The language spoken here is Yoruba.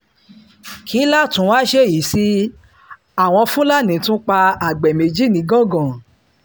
kí láá tí wàá ṣèyí sí àwọn fúlàní tún pa àgbẹ̀ méjì nìgangan